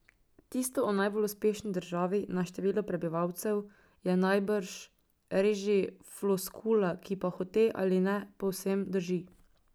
Tisto o najbolj uspešni državi na število prebivalcev je najbrž res že floskula, ki pa hote ali ne povsem drži.